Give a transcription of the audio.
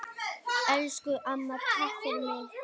Elsku amma, takk fyrir mig.